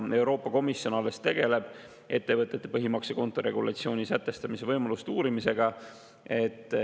Euroopa Komisjon alles tegeleb ettevõtete põhimaksekonto regulatsiooni sätestamise võimaluste uurimisega.